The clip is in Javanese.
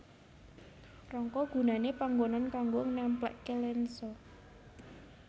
Rangka gunané panggonan kanggo nempléké lensa